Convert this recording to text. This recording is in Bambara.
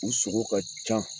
U sogo ka can